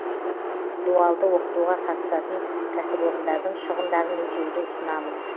дуалды оқытуға қатысатын кәсіпорындардың шығындарын өтеуді ұсынамыз